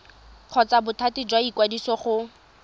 kgotsa bothati jwa ikwadiso go